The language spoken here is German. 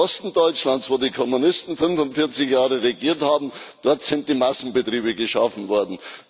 Im Osten Deutschlands, wo die Kommunisten 45 Jahre regiert haben, dort sind die Massenbetriebe geschaffen worden.